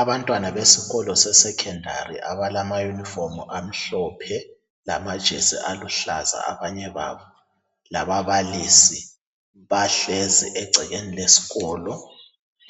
Abantwana besikolo sesecondary abalamayunifomu amhlophe lamajesi aluhlaza abanye babo lababalisi bahlezi egcekeni lesikolo